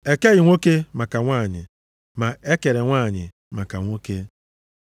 E keghị nwoke maka nwanyị, ma e kere nwanyị maka nwoke.